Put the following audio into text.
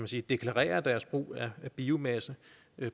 sige deklarere deres brug af biomasse